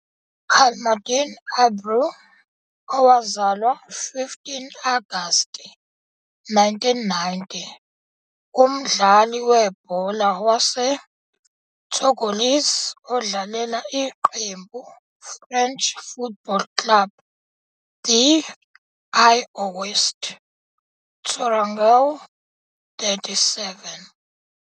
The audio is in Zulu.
Camaldine Abraw, owazalwa 15 Agasti 1990, umdlali webhola wase Togolese odlalela iqembu French Football Club de l'Ouest Tourangeau 37.